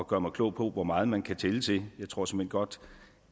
gøre mig klog på hvor meget man kan tælle til jeg tror såmænd godt